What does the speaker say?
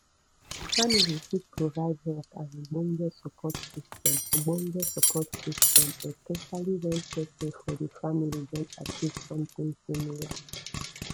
family fit provide help and ogbonge support system ogbonge support system especially when person for di family don achive something similar